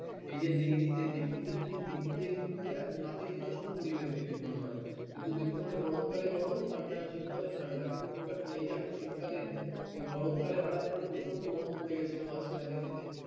এই যে দিল্লিতে দিল্লিতে তুমি যে দিল্লিতে কিন্তু নাতিশীতোষ্ণ পরিবেশ দিল্লি normal কিন্তু দিল্লিতে মানে গরমকালে গরম ঠাণ্ডা শীতকালে ঠাণ্ডা কিন্তু খুব একটা নেই যে এখন শীতকালে এই গরমকালে হঠাৎ করে প্রচণ্ড গরম পড়ে গেছিল মাঝখানে দিল্লি তে